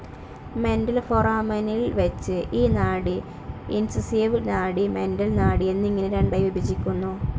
Mental ഫൊറാമനിൽ വച്ച് ഈ നാഡി ഇൻസൈസിവ്‌ നാഡി, മെന്റൽ നാഡി എന്നിങ്ങനെ രണ്ടായി വിഭജിക്കുന്നു.